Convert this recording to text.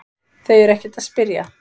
Þau eru ekkert að spyrja